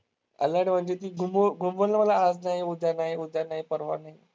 Alert म्हणजे ती घुमवल मला आज नाही, उद्या नाही, उद्या नाही, परवा नाही.